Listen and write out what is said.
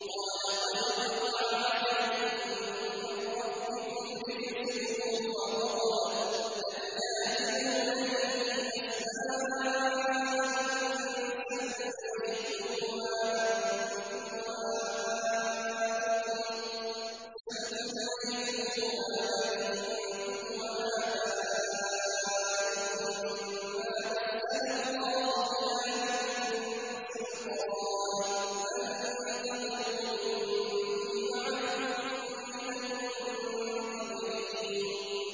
قَالَ قَدْ وَقَعَ عَلَيْكُم مِّن رَّبِّكُمْ رِجْسٌ وَغَضَبٌ ۖ أَتُجَادِلُونَنِي فِي أَسْمَاءٍ سَمَّيْتُمُوهَا أَنتُمْ وَآبَاؤُكُم مَّا نَزَّلَ اللَّهُ بِهَا مِن سُلْطَانٍ ۚ فَانتَظِرُوا إِنِّي مَعَكُم مِّنَ الْمُنتَظِرِينَ